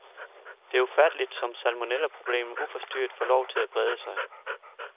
Det er ufatteligt, som salmonellaproblemet uforstyrret får lov til at brede sig.